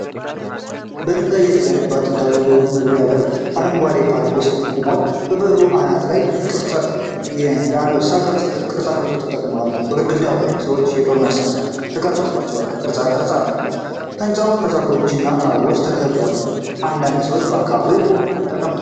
በድንጋይ የተገነባ ጥንታዊ መግቢያ በር በአረንጓዴ ፓርክ ውስጥ ቆሟል። በበሩ አናት ላይ የአንበሳ ቅርፃ- ቅርጾች ተቀምጠዋል። በግድግዳው ላይ ሰዎችና የጦር መሳሪያዎች የተቀረጹበት ቅርፃ-ቅርፅ አለው። ህንጻው በዛፎችና በአበቦች ተከቧል። አንዳንድ ሰዎች በአካባቢው ተቀምጠዋል።